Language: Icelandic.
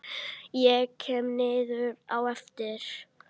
Ég kem niður á eftir.